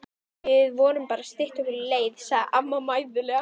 Við vorum bara að stytta okkur leið sagði amma mæðulega.